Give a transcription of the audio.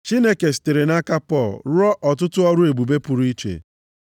Chineke sitere nʼaka Pọl rụọ ọtụtụ ọrụ ebube pụrụ iche.